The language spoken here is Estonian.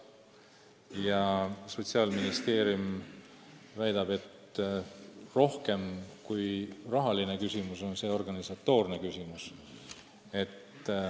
Ja Sotsiaalministeerium väidab, et rohkem kui rahaline küsimus on see organisatoorne küsimus.